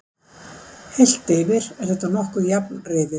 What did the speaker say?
Heilt yfir er þetta nokkuð jafn riðill.